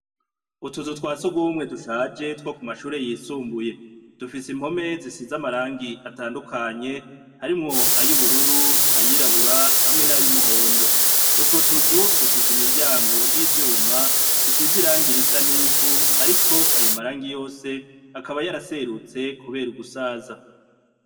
Utuzu twa sugumwe dushaje two kumashure yisumbuye, dufise impome zisize amarangi atandukanye harimwo ay'ubururu, ay'irabura hamwe nay'umuhondo, utwo tuzu dufise imiryango y'ivyuma risize irangi risa n'ivu ariko ayo marangi yose akaba yaraserutse kubera ugusaza.